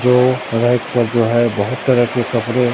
जो रैक पर जो है बहुत तरह के कपड़े--